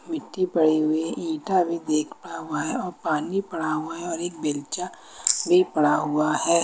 मिट्टी पड़ी हुई ईटा भी एक पड़ा हुआ है पानी पड़ा हुआ है और एक बेल्चा भी पड़ा हुआ है।